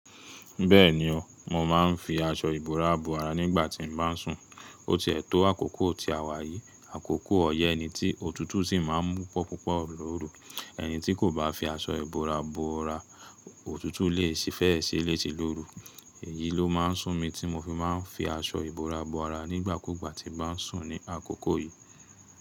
Bẹ́ẹ̀ni o, mo máa ń fi aṣọ ìbora bo ara nígbà tí mo bá ń sùn. O ti ẹtọ àkókò ti a wà yìí, àkókò ọyẹ́ ni tí òtútù sì máa ń mú pupopupo loru. Ẹni tí kò bá fi aṣọ ìbora bo ara, òtútù lè si fẹ́ ṣe lése lóru. Èyí ló máa ń sún mi tí mo fi máa ń fi aṣọ ìbora bo ara nígbà kúgbà tí bà ń sùn ní àkókò yìí.